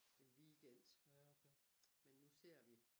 Den weekend men nu ser vi